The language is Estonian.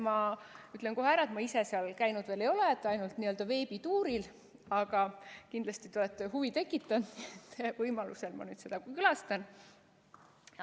Ja ütlen kohe ära, et ma ise seal käinud veel ei ole, ainult veebituuril, aga te kindlasti olete huvi tekitanud ja võimaluse korral ma seda külastan.